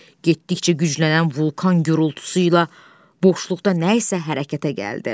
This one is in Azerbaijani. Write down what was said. Getdikcə güclənən vulkan gurultusu ilə boşluqda nəsə hərəkətə gəldi.